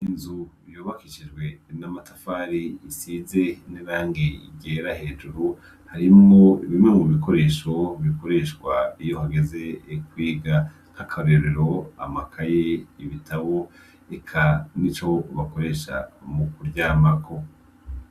Inzu yubakishijwe n'amatafari isize n'irangi ryera hejuru, harimwo bimwe mu bikoresho bikoreshwa iyo hageze kwiga. Akarorero: amakaye, ibitabo, eka nico bakoresha mu kuryamako.